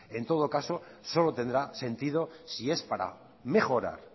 en todo caso solo tendrá sentido si es para mejorar